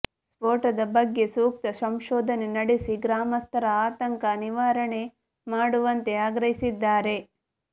ಸ್ಪೋಟದ ಬಗ್ಗೆ ಸೂಕ್ತ ಸಂಶೋಧನೆ ನಡೆಸಿ ಗ್ರಾಮಸ್ಥರ ಆತಂಕ ನಿವಾರಣೆ ಮಾಡುವಂತೆ ಆಗ್ರಹಿಸಿದ್ದಾರೆ